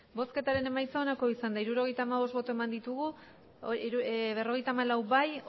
hirurogeita hamabost eman dugu bozka berrogeita hamalau bai